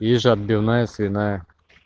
есть же отбивная свиная